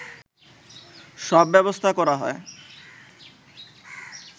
সব ব্যবস্থা করা হয়